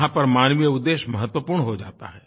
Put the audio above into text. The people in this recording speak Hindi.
यहाँ पर मानवीयउद्धेश्य महत्वपूर्ण हो जाता है